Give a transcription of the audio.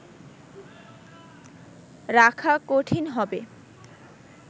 রাখা কঠিন হবে